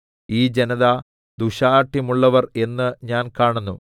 ഈ ജനത ദുശ്ശാഠ്യമുള്ളവർ എന്ന് ഞാൻ കാണുന്നു